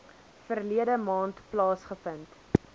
verlede maand plaasgevind